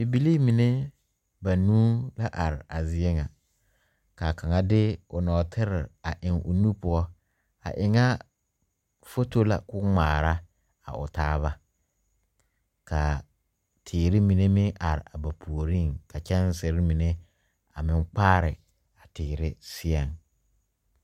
Bibilee mine bauu a la are a zie ŋa kaa kaŋa de o nɔɔtere a eŋ o nu poɔ a eŋa foto la ko'o ŋmaara a o taa ba kaa teere mine meŋ are a ba puori ka kyɛŋsere mine a meŋ kpaare a teere seɛ.